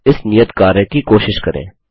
इस नियत कार्य कि कोशिश करें